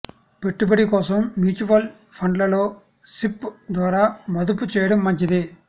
పెట్టుబడి కోసం మ్యూచువల్ ఫండ్లలో సిప్ ద్వారా మదుపు చేయడం మంచిది